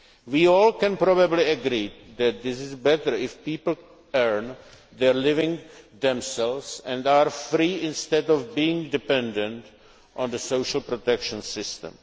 We all probably agree that it is better if people earn their living themselves and are free instead of being dependent on the social protection